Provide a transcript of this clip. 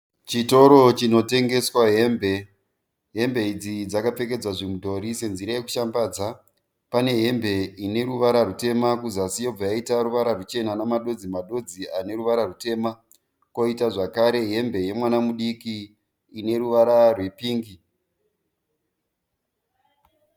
Chitoro chino tengeswa hembe. Hembe idzi dzakapfekedzwa zvimudhori senzira yekushambadza. Pane hembe ine ruvara rutema kuzasi yobva yaita ruvara ruchena namadodzi madodzi aneruvara rutema. Koita zvakare hembe yemwana mudiki ine ruvara rwepingi.